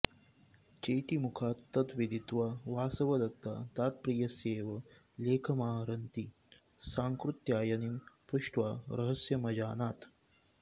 चेटीमुखात् तद् विदित्वा वासवदत्ता तत्प्रियस्यैव लेखमाहरन्तीं सांकृत्यायनीं पृष्ट्वा रहस्यमजानात्